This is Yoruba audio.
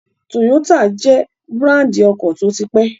Toyota jẹ́ búràndì ọkọ̀ tó ti pẹ́